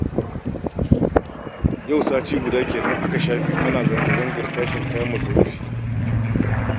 Yau sati guda kenan aka shafe ana zanga-zangar tashin kayan masarufi